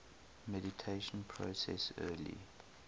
mediation process early